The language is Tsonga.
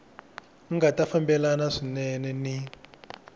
nga ta fambelana swinene ni